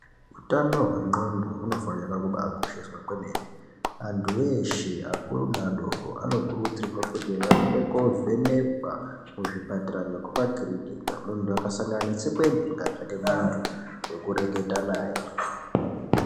Hutano hwengonxo hunofana kukosheswa kwemene antu eshe akuru neadoko anokurudzirwa kuti aende kovhenekwa kuzvipatara nekumakirniki muntu akasangana netsekwende ngatsvake muntu wekureketa naye.